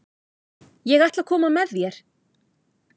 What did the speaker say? Ég ætla að koma með þér!